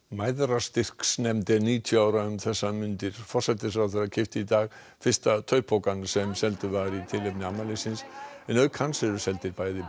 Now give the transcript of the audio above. Mæðrastyrksnefnd er níutíu ára um þessar mundir forsætisráðherra keypti í dag fyrsta sem seldur var í tilefni afmælisins en auk hans eru seldir bæði